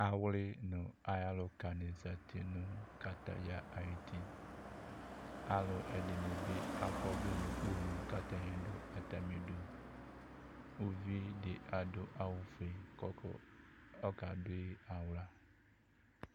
awli no ayi aluka ni zati no kataya ayi ti alò ɛdini bi akɔ ɔvlɛ n'ukponu k'atani do atami du uvi di adu awu fue k'ɔdu ɔka do yi ala